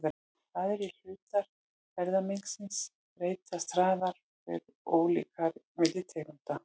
Aðrir hlutar erfðamengisins breytast hraðar og eru ólíkari milli tegunda.